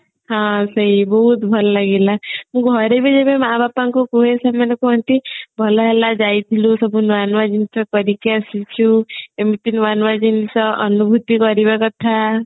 ହଁ ସେଇ ବହୁତ ଭଲ ଲାଗିଲା ମୁଁ ଘରେ ବି ଯେତେବେଳେ ମା ବାପଙ୍କୁ କୁହେ ସେମାନେ କୁହନ୍ତି ଭଲ ହେଲା ଯାଇଥିଲୁ ସବୁ ନୂଆ ନୂଆ ଜିନିଷ କରିକି ଆସିଚୁ ଏମତି ନୂଆ ନୂଆ ଜିନିଷ ଅନୁଭୂତି କରିବା କଥା